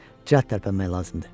Cəh tərpənmək lazımdır.